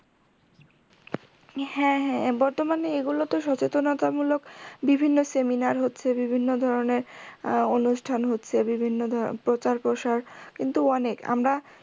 হ্যা হ্যা বর্তমানে এগুলোতো সচেতনতামূলক বিভিন্ন seminar হচ্ছে বিভিন্ন ধরণের আহ অনুষ্ঠান হচ্ছে বিভিন্ন ধরণের প্রচার প্রসার কিন্তু অনেক আমরা